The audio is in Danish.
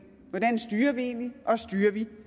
hvordan styrer vi egentlig og styrer vi